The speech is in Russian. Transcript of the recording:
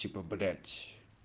типа блять